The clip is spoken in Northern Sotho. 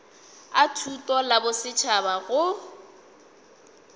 a thuto la bosetšhaba go